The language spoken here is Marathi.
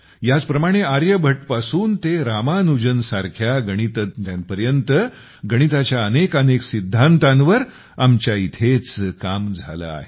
ह्याच प्रमाणे आर्यभट्ट पासून ते रामानुजन सारख्या गणितज्ञांपर्यंत गणिताच्या अनेकानेक सिद्धांतांवर आमच्या इथेच काम झाले आहे